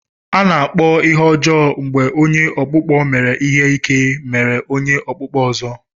A na-akpọ ihe ọjọọ mgbe onye ọkpụkpọ mere ihe ike meru onye okpukpo ozo.